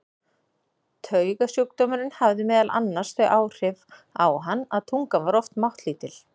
Taugasjúkdómurinn hafði meðal annars þau áhrif á hann að tungan var oft máttlítil.